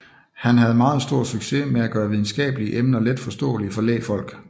Han havde meget stor succes med at gøre videnskabelige emner letforståelige for lægfolk